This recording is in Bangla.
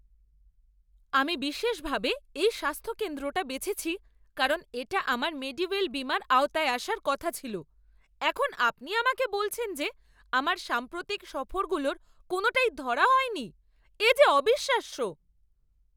আমি বিশেষভাবে এই স্বাস্থ্য কেন্দ্রটা বেছেছি কারণ এটা আমার মেডিওয়েল বীমার আওতায় আসার কথা ছিল। এখন আপনি আমাকে বলছেন যে আমার সাম্প্রতিক সফরগুলোর কোনোটাই ধরা হয়নি? এ যে অবিশ্বাস্য!